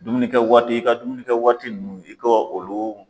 Dumuni kɛ waati, i ka dumuni kɛ waati nunnu, i kɔ olu